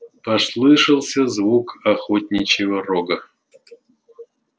послышался звук охотничьего рога